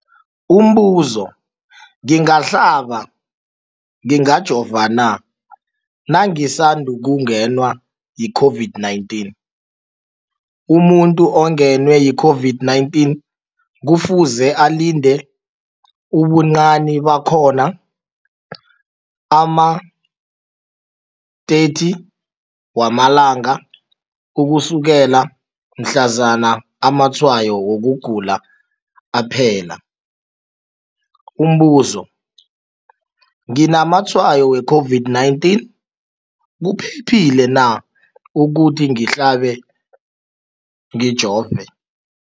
Umbuzo, ngingahlaba, ngingajova na nangisandu kungenwa yi-COVID-19? Umuntu ongenwe yi-COVID-19 kufuze alinde ubuncani bakhona ama-30 wama langa ukusukela mhlazana amatshayo wokugula aphela. Umbuzo, nginamatshayo we-COVID-19, kuphephile na ukuthi ngihlabe, ngijove?